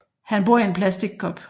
Han bor i en plastik kop